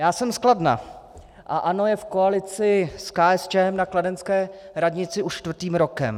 Já jsem z Kladna a ANO je v koalici s KSČM na kladenské radnici už čtvrtým rokem.